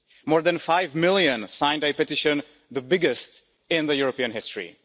More than 5 million signed a petition the biggest in European history.